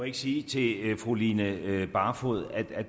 ikke sige til fru line barfod at